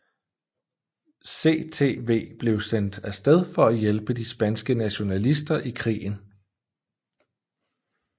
CTV blev sendt af sted for at hjælpe de spanske nationalister i krigen